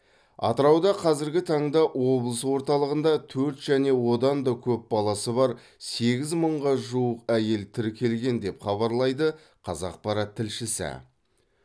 атырауда қазіргі таңда облыс орталығында төрт және одан да көп баласы бар сегіз мыңға жуық әйел тіркелген деп хабарлайды қазақпарат тілшісі